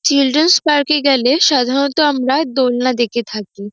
''Children's পার্কে গেলে সাধারণত আমরা দোলনা দেখে থাকি।''